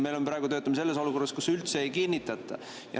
Me praegu töötame selles olukorras, kus üldse ei kinnitata.